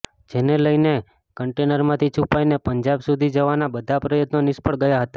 જેને લઇને કન્ટેનરમાંથી છુપાઇને પંજાબ સુધી જવાના બધા પ્રયત્નો નિષ્ફળ ગયા હતા